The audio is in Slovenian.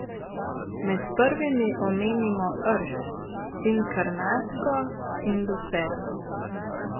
Med prvimi omenimo rž, inkarnatko in lucerno.